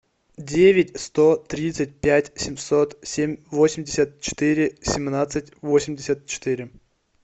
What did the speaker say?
девять сто тридцать пять семьсот семь восемьдесят четыре семнадцать восемьдесят четыре